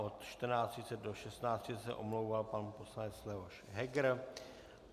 Od 14.30 do 16.30 se omlouval pan poslanec Leoš Heger.